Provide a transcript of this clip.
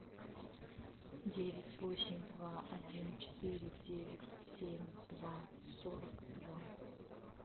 девять восемь два один четыре девять семь два сорок два